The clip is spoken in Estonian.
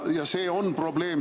See on probleem.